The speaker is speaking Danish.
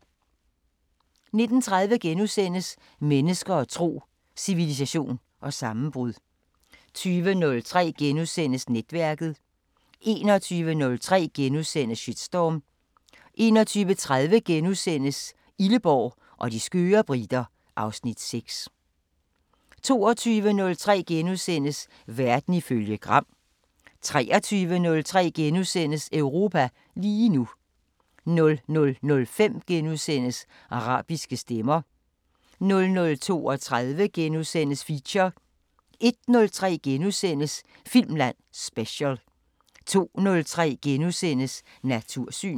19:30: Mennesker og tro: Civilisation og sammenbrud * 20:03: Netværket * 21:03: Shitstorm * 21:30: Illeborg og de skøre briter (Afs. 6)* 22:03: Verden ifølge Gram * 23:03: Europa lige nu * 00:05: Arabiske Stemmer * 00:32: Feature * 01:03: Filmland Special * 02:03: Natursyn *